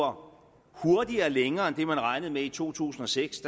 hurtigere lever længere end det man regnede med i to tusind og seks